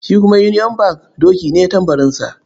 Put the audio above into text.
Shi kuma union bank doki ne tambarinsa.